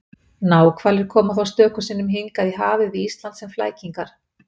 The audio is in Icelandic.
Náhvalir koma þó stöku sinnum hingað í hafið við Ísland sem flækingar.